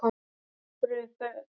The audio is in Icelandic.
Af hverju þar?